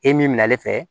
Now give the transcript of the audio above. E min bɛna ale fɛ